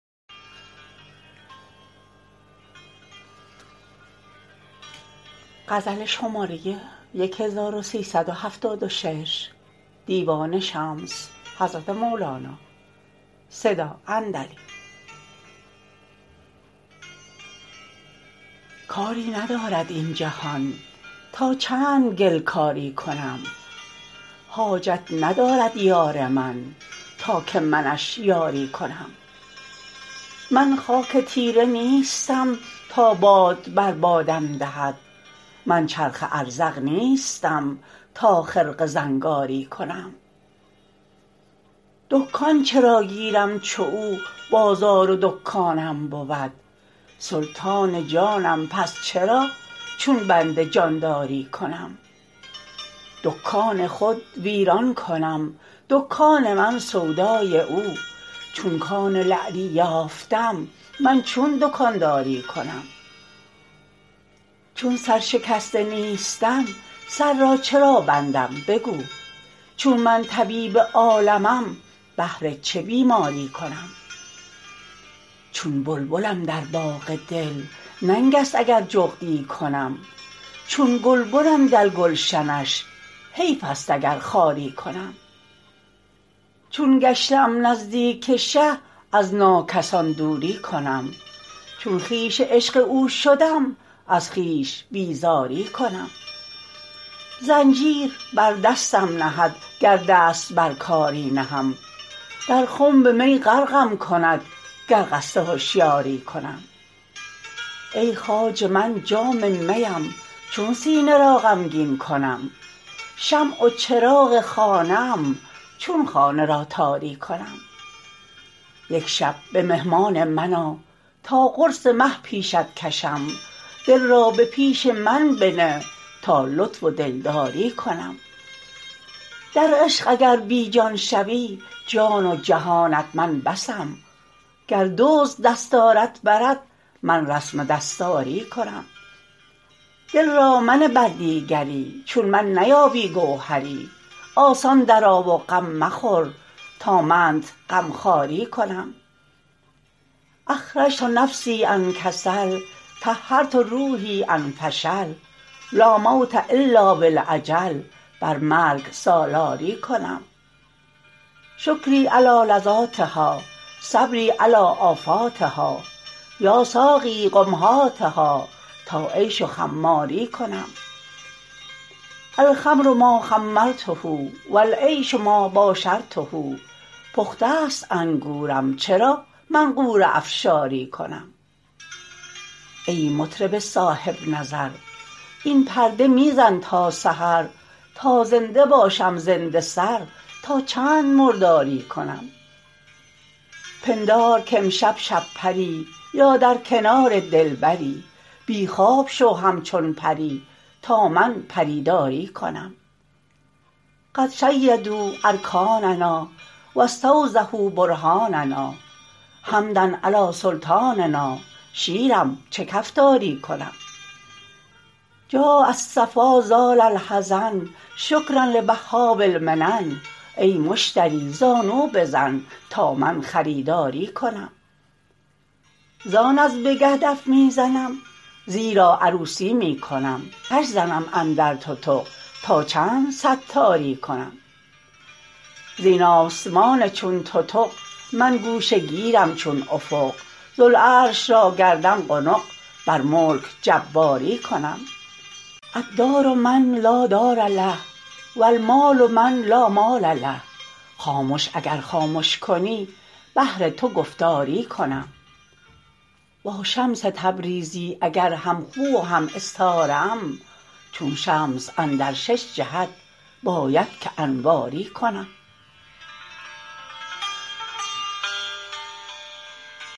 کاری ندارد این جهان تا چند گل کاری کنم حاجت ندارد یار من تا که منش یاری کنم من خاک تیره نیستم تا باد بر بادم دهد من چرخ ازرق نیستم تا خرقه زنگاری کنم دکان چرا گیرم چو او بازار و دکانم بود سلطان جانم پس چرا چون بنده جانداری کنم دکان خود ویران کنم دکان من سودای او چون کان لعلی یافتم من چون دکانداری کنم چون سرشکسته نیستم سر را چرا بندم بگو چون من طبیب عالمم بهر چه بیماری کنم چون بلبلم در باغ دل ننگست اگر جغدی کنم چون گلبنم در گلشنش حیفست اگر خاری کنم چون گشته ام نزدیک شه از ناکسان دوری کنم چون خویش عشق او شدم از خویش بیزاری کنم زنجیر بر دستم نهد گر دست بر کاری نهم در خنب می غرقم کند گر قصد هشیاری کنم ای خواجه من جام میم چون سینه را غمگین کنم شمع و چراغ خانه ام چون خانه را تاری کنم یک شب به مهمان من آ تا قرص مه پیشت کشم دل را به پیش من بنه تا لطف و دلداری کنم در عشق اگر بی جان شوی جان و جهانت من بسم گر دزد دستارت برد من رسم دستاری کنم دل را منه بر دیگری چون من نیابی گوهری آسان درآ و غم مخور تا منت غمخواری کنم اخرجت نفسی عن کسل طهرت روحی عن فشل لا موت الا بالاجل بر مرگ سالاری کنم شکری علی لذاتها صبری علی آفاتها یا ساقیی قم هاتها تا عیش و خماری کنم الخمر ما خمرته و العیش ما باشرته پخته ست انگورم چرا من غوره افشاری کنم ای مطرب صاحب نظر این پرده می زن تا سحر تا زنده باشم زنده سر تا چند مرداری کنم پندار کامشب شب پری یا در کنار دلبری بی خواب شو همچون پری تا من پری داری کنم قد شیدوا ارکاننا و استوضحوا برهاننا حمدا علی سلطاننا شیرم چه کفتاری کنم جاء الصفا زال الحزن شکرا لوهاب المنن ای مشتری زانو بزن تا من خریداری کنم زان از بگه دف می زنم زیرا عروسی می کنم آتش زنم اندر تتق تا چند ستاری کنم زین آسمان چون تتق من گوشه گیرم چون افق ذوالعرش را گردم قنق بر ملک جباری کنم الدار من لا دار له و المال من لا مال له خامش اگر خامش کنی بهر تو گفتاری کنم با شمس تبریزی اگر همخو و هم استاره ام چون شمس اندر شش جهت باید که انواری کنم